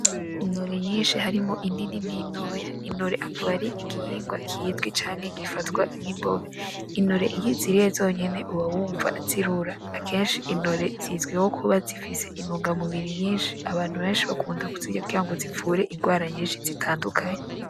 Intore nyishi harimwo inini nintoya ,Intore akaba ari igihingwa kizwi canke gifatwa nkimboga ,intore iyo uziriye zonyene uba wumva zirura akeshi intore zizwiho kuba zifise intungamubiri nyishi abantu beshi bakunda kuzirya kugira zivure ingwara nyishi zitandukanye.